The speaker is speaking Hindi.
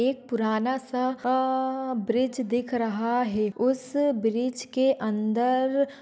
एक पुराना सा आ ब्रिज दिख रहा है उस ब्रिज के अंदर--